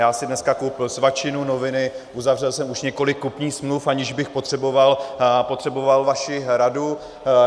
Já si dneska koupil svačinu, noviny, uzavřel jsem už několik kupních smluv, aniž bych potřeboval vaši radu.